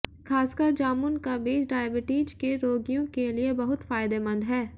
खासकर जामुन का बीज डायबिटीज के रोगियों के लिए बहुत फायदेमंद है